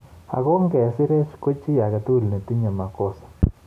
Ago nge sireech ko chi age tugul ne tinye makosa